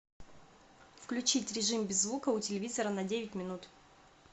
включить режим без звука у телевизора на девять минут